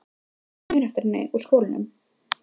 Þú hlýtur að muna eftir henni úr skólanum?